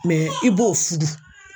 i b'o fudu.